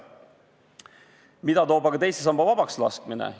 Mida toob aga teise samba vabaks laskmine?